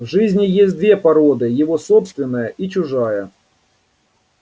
в жизни есть две породы его собственная и чужая